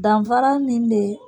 Danfara min bɛ